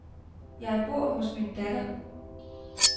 Jeg bor hos min datter.